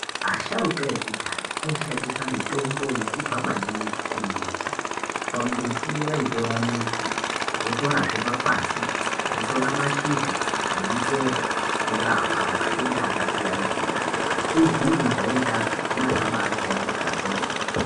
Asharuka ekudhaya aishanisa mitombo yaibva maningi kumbuti. Pambuti vaitora mudzi, votorazve makwati, votora mashizha nemichero kurapa matenda akasiyana-siyana asizi kujairikapi neakabaa jairika kwemene.